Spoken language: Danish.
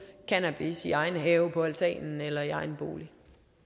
cannabis i egen have på altanen eller i egen bolig